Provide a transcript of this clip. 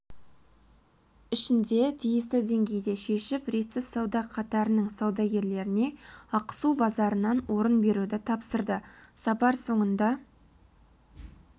ішінде тиісті деңгейде шешіп ретсіз сауда қатарының саудагерлеріне ақсу базарынан орын беруді тапсырды сапар соңында